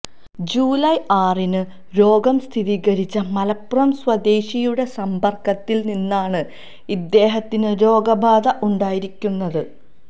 July ആറിന് രോഗം സ്ഥിരീകരിച്ച മലപ്പുറം സ്വദേശിയുടെ സമ്പർക്കത്തിൽ നിന്നാണ് ഇദ്ദേഹത്തിന് രോഗബാധ ഉണ്ടായിരിക്കുന്നത്